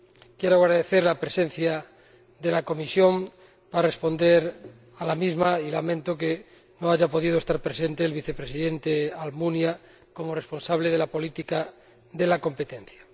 Quiero agradecer la presencia de la Comisión para responder a las mismas y lamento que no haya podido estar presente el Vicepresidente Almunia, como responsable de política de competencia.